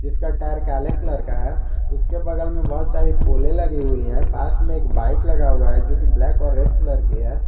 उसका टायर काले कलर का है उसके बगल में बहुत सारी पोले लगी हुई है पास में एक बाइक लगा हुआ है जो की ब्लैक और रेड कलर की है।